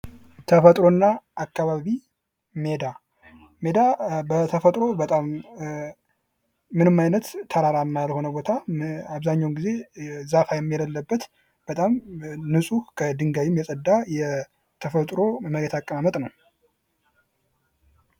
ተፈጥሮና አካባቢ ሜዳ ሜዳ በተፈጥሮ ምንም አይነት ተራራ ያልሆነ ቦታ አብዛኛውን ጊዜም የሌለበት በጣም ንፁህ ከድንጋይም የጸዳ የተፈጥሮ መሬት አቀማመጥ ነው።